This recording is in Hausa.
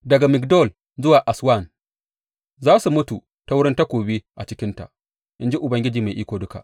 Daga Migdol zuwa Aswan za su mutu ta wurin takobi a cikinta, in ji Ubangiji Mai Iko Duka.